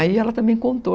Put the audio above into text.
Aí ela também contou.